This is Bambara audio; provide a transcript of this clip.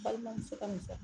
Balimamuso ka misɔrɔ.